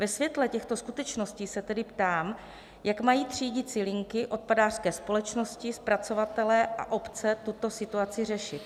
Ve světle těchto skutečností se tedy ptám, jak mají třídicí linky, odpadářské společnosti, zpracovatelé a obce tuto situaci řešit.